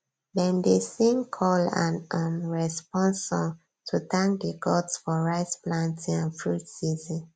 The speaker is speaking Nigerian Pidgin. dem dey sing call and um response song to thank the gods for rice planting and fruit season